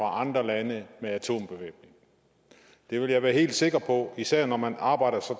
andre lande med atombevæbning det vil jeg være helt sikker på især når man arbejder så